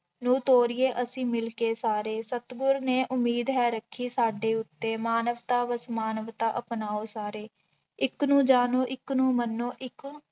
ਨੂੰ ਤੋਰੀਏ ਅਸੀਂ ਮਿਲਕੇ ਸਾਰੇ, ਸਤਿਗੁਰ ਨੇ ਉਮੀਦ ਹੈ ਰੱਖੀ ਸਾਡੇ ਉੱਤੇ, ਮਾਨਵਤਾ ਬਸ ਮਾਨਵਤਾ ਅਪਣਾਓ ਸਾਰੇ, ਇੱਕ ਨੂੰ ਜਾਣੋ ਇੱਕ ਨੂੰ ਮੰਨੋ ਇੱਕ